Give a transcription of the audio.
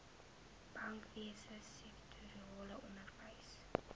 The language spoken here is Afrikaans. bankwese sektorale onderwys